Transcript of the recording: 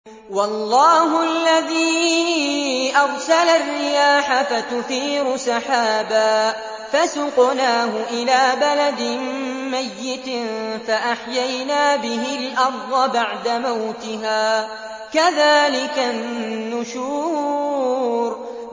وَاللَّهُ الَّذِي أَرْسَلَ الرِّيَاحَ فَتُثِيرُ سَحَابًا فَسُقْنَاهُ إِلَىٰ بَلَدٍ مَّيِّتٍ فَأَحْيَيْنَا بِهِ الْأَرْضَ بَعْدَ مَوْتِهَا ۚ كَذَٰلِكَ النُّشُورُ